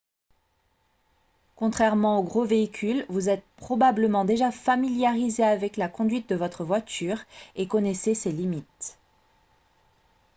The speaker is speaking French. contrairement aux gros véhicules vous êtes probablement déjà familiarisé avec la conduite de votre voiture et connaissez ses limites